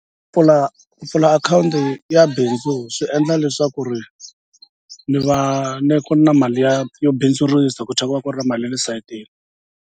Pfula pfula akhawunti ya bindzu swi endla leswaku ri ni va ni ku na mali ya yo bindzurisa ku ku va ku ri na mali ya le sayitini.